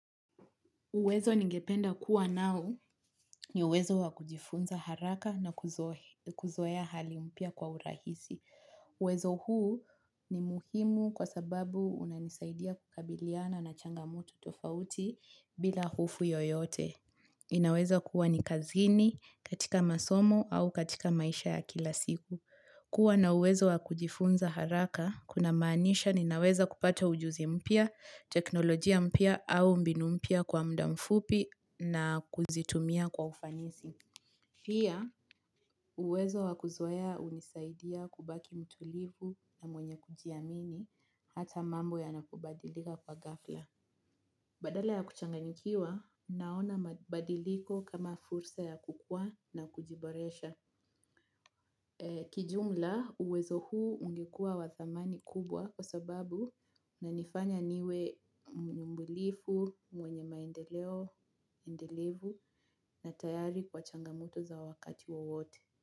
Uwezo ningependa kuwa nao ni uwezo wa kujifunza haraka na kuzoea hali mpya kwa urahisi. Uwezo huu ni muhimu kwa sababu unanisaidia kukabiliana na changamoto tofauti bila hofu yoyote. Inaweza kuwa ni kazini katika masomo au katika maisha ya kila siku. Kuwa na uwezo wakujifunza haraka, kuna maanisha ninaweza kupata ujuzi mpya, teknolojia mpya au mbinu mpya kwa muda mfupi na kuzitumia kwa ufanisi. Pia, uwezo wakoea hunisaidia kubaki mtulivu na mwenye kujiamini hata mambo ya nakubadilika kwa ghafla. Badala ya kuchanganikiwa, naona mabadiliko kama fursa ya kukua na kujiboresha. Kijumla uwezo huu ungekua wathamani kubwa kwa sababu unanifanya niwe mbulifu mwenye maendeleo, endelevu na tayari kwa changamuto za wakati wawote.